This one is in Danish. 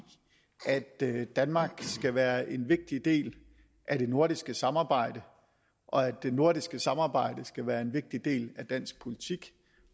at danmark skal være en vigtig del af det nordiske samarbejde og at det nordiske samarbejde skal være en vigtig del af dansk politik